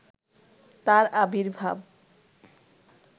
তার আবির্ভাব